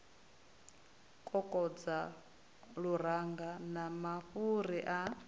kokodza luranga na mafhuri a